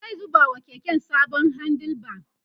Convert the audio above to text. zai zuba wa keken sabon handle bar